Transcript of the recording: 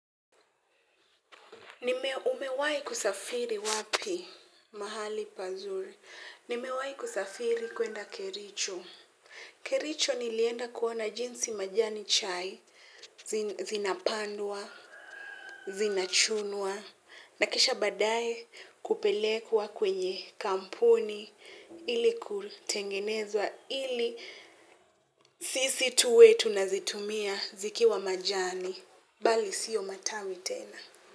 Nime umewahi kusafiri wapi mahali pazuri. Nimewahi kusafiri kwenda kericho. Kericho nilienda kuona jinsi majani chai, zinapandwa, zinachunwa, na kisha baadaye kupelekwa kwenye kampuni, ili kutengenezwa, ili sisi tuwe tunazitumia zikiwa majani, bali sio matawi tena.